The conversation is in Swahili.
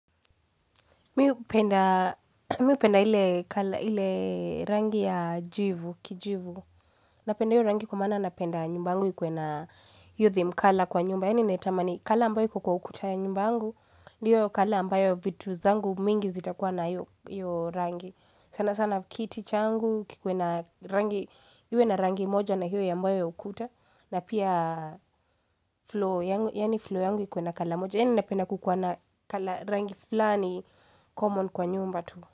Mimi upenda hile rangi ya jivu, kijivu. Napenda hile rangi kumana napenda nyumbangu ikuwe na youthy mkala kwa nyumba. Yaani netama ni kala ambayo kukua ukutaya nyumbangu. Ndiyo kala ambayo vitu zangu mingi zita kuwa na hile rangi. Sana sana kiti changu kikuwe na rangi moja na hile yambayo ukuta. Na pia flow yangu ikuwe na kala moja. Yaani napena kukwana rangi flani common kwa nyumba tu.